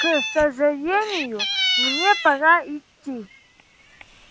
к сожалению мне пора идти